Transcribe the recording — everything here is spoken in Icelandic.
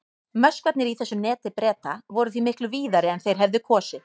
Möskvarnir í þessu neti Breta voru því miklu víðari en þeir hefðu kosið.